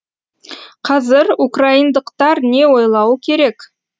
қазір украиндықтар не ойлауы керек